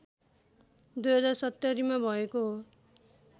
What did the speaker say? २०७०मा भएको हो